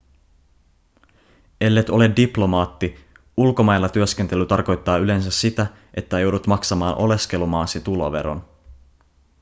ellet ole diplomaatti ulkomailla työskentely tarkoittaa yleensä sitä että joudut maksamaan oleskelumaasi tuloveron